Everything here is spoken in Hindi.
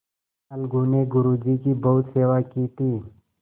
अलगू ने गुरु जी की बहुत सेवा की थी